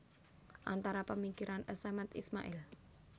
Antara pemikiran A Samad Ismail